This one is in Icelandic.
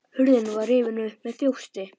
Hurðin var rifin upp með þjósti.